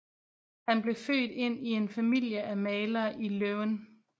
Han blev født ind i en familie af malere i Leuven